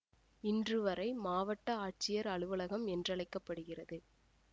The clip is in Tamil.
இன்று வரை மாவட்ட ஆட்சியர் அலுவலகம் என்றழைக்கப்படுகிறது